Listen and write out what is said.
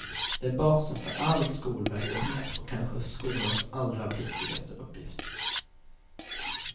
Det är basen för all skolverksamhet och kanske skolans allra viktigaste uppgift.